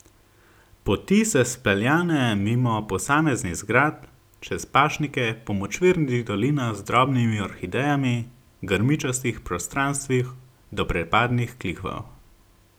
Poti se speljane mimo posameznih zgradb, čez pašnike, po močvirnih dolinah z drobnimi orhidejami, grmičastih prostranstvih do prepadnih klifov.